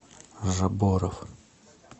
жабборов